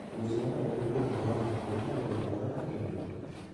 Weche momedore kuom corona: Be inyalo yudi corona kendo?